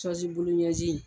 Sɔzi bulu ɲɛzin.